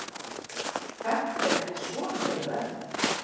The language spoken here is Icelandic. Þetta er ekki svona auðvelt.